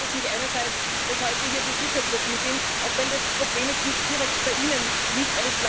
Darum freut es mich einerseits, dass heute hier Besuchergruppen sind, auch wenn das Problem jetzt nicht direkt bei ihnen liegt.